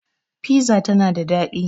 Fiza tana da daɗi